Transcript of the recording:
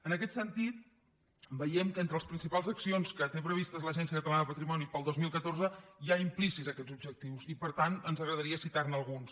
en aquest sentit veiem que entre les principals accions que té previstes l’agència catalana del patrimoni per al dos mil catorze hi ha implícits aquests objectius i per tant ens agradaria citar ne alguns